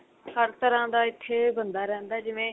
ਹਰ ਤਰ੍ਹਾਂ ਦਾ ਇੱਥੇ ਬੰਦਾ ਰਹਿੰਦਾ ਜਿਵੇਂ